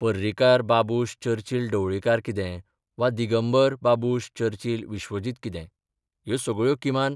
पर्रीकार बाबुश चर्चिल ढवळीकार कितें वा दिगंबर बाबुश चर्चिल विश्वजीत कितें, ह्यो सगळ्यो किमान